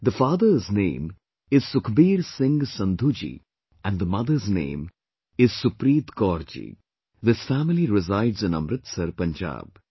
The father's name is Sukhbir Singh Sandhu ji and the mother's name is Supreet Kaur ji...this family resides in Amritsar, Punjab